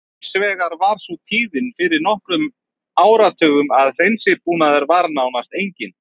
Hins vegar var sú tíðin fyrir nokkrum áratugum að hreinsibúnaður var nánast enginn.